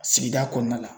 Sigida kɔnɔna la